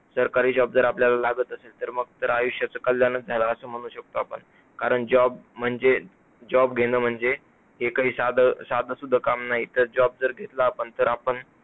सरकारी job जर आपल्याला लागत असेल तर मग तर आयुष्याचं कलयाणच झाला असा म्हणू शकतो आपण, कारण job म्हणजे job घेण म्हणजे हे काही साधं साधंसुध काम नाही तर